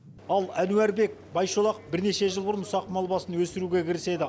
ал әнуарбек байшолақов бірнеше жыл бұрын ұсақ мал басын өсіруге кіріседі